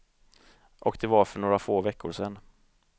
Och det var för några få veckor sen.